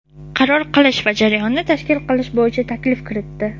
qaror qilish va jarayonni tashkil qilish bo‘yicha taklif kiritdi.